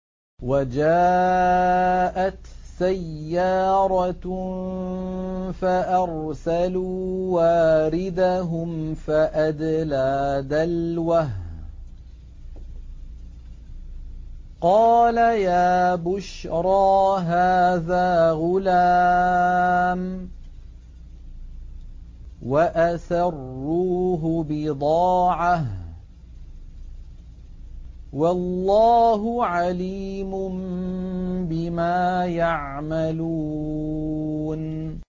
وَجَاءَتْ سَيَّارَةٌ فَأَرْسَلُوا وَارِدَهُمْ فَأَدْلَىٰ دَلْوَهُ ۖ قَالَ يَا بُشْرَىٰ هَٰذَا غُلَامٌ ۚ وَأَسَرُّوهُ بِضَاعَةً ۚ وَاللَّهُ عَلِيمٌ بِمَا يَعْمَلُونَ